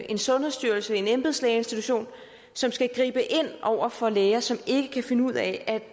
en sundhedsstyrelse en embedslægeinstitution som skal gribe ind over for læger som ikke kan finde ud af